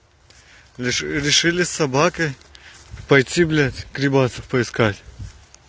решили с собакой пойти блядь грибасов поискать